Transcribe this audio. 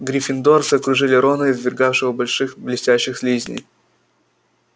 гриффиндорцы окружили рона извергавшего больших блестящих слизней